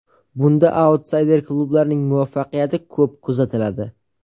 Bunda autsayder klublarning muvaffaqiyati ko‘p kuzatiladi.